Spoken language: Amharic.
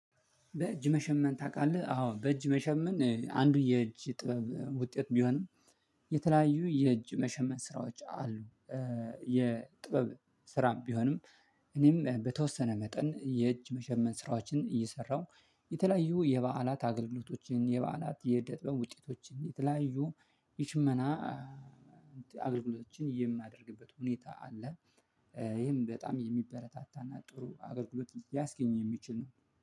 በእጅ መሸመን ታቃለህ? አዎ በእጅ መሸመን አንዱ የእጅ ጥበብ ውጤት ቢሆንም የተለያዩ የእጅ መሸመን ስራዎች አሉ። የጥበብ ስራም ቢሆንም። እኔም በተወሰነ መጠን የእጅ መሸመን ስራዎችን እየሰራሁ የተለያዩ የበዓላት አገልግሎቶችን የበዓላት የዕደ ጥበብ ውጤቶችን የተለያዩ የሽመና አገልግሎቶችን የማደርግበት ሁኔታ አለ። ይህም በጣም የሚበረታታና ጥሩ አገልግሎት ሊያስገኝ የሚችል ነው